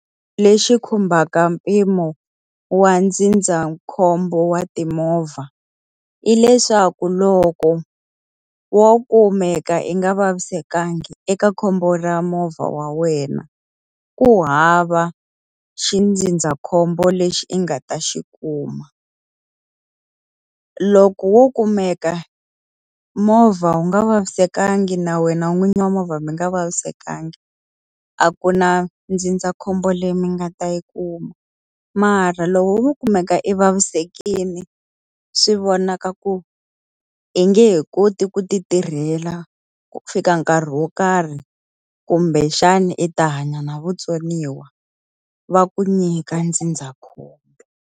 Lexi khumbaka mpimo wa ndzindzakhombo wa timovha, hileswaku loko wo kumeka yi nga vavisekanga eka khombo ra movha wa wena ku hava xindzindzakhombo lexi i nga ta xi kuma. Loko wo kumeka movha wu nga vavisekanga na wena n'winyi movha mi nga vavisekanga, a ku na ndzindzakhombo leyi mi nga ta yi kuma. Mara loko wo kumeka i vavisekile swi vonaka ku i nge he koti ku ti tirhela ku fika nkarhi wo karhi kumbexana i ta hanya na vutsoniwa, va ku nyika ndzindzakhombo.